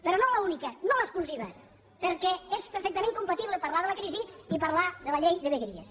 però no l’única no l’exclusiva perquè és perfectament compatible parlar de la crisi i parlar de la llei de vegueries